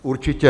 Určitě.